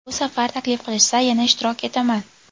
Bu safar taklif qilishsa, yana ishtirok etaman.